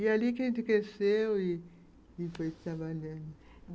E ali que a gente cresceu e e foi trabalhando.